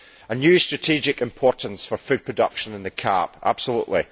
A new strategic importance for food production and the CAP absolutely.